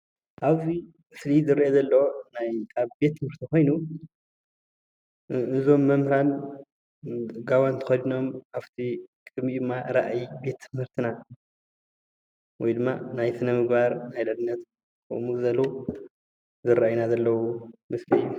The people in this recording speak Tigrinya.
ኣብዚ ምስሊ ዝረአ ዘሎ ናይ ኣብ ቤት ትምህርቲ ኮይኑ እዞም መምህራን ጓውን ተከዲኖም ኣፍቲ ቅድሚ ራኣይ ቤት ትምህርትና ወይ ድማ ናይ ስነ - ምግባር ናይ ልዕልነት ከምኡ ዝበሉ ዝረአዩና ዘለዉ ምስሊ እዩ፡፡